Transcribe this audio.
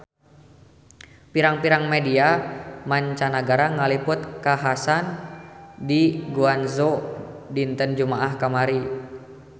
Pirang-pirang media mancanagara ngaliput kakhasan di Guangzhou dinten Jumaah kamari